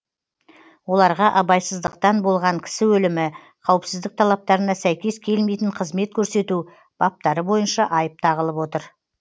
оларға абайсыздықтан болған кісі өлімі қауіпсіздік талаптарына сәйкес келмейтін қызмет көрсету баптары бойынша айып тағылып отыр